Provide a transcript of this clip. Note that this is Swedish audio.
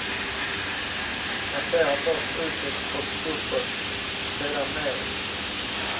Massera först utåt och uppåt, sedan neråt.